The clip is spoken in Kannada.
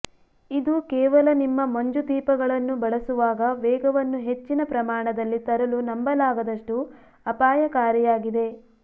ಇದು ಕೇವಲ ನಿಮ್ಮ ಮಂಜು ದೀಪಗಳನ್ನು ಬಳಸುವಾಗ ವೇಗವನ್ನು ಹೆಚ್ಚಿನ ಪ್ರಮಾಣದಲ್ಲಿ ತರಲು ನಂಬಲಾಗದಷ್ಟು ಅಪಾಯಕಾರಿಯಾಗಿದೆ